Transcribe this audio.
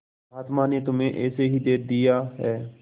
महात्मा ने तुम्हें ऐसे ही दे दिया है